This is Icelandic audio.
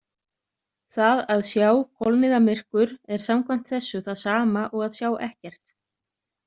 Það að „sjá“ kolniðamyrkur er samkvæmt þessu það sama og að sjá ekkert.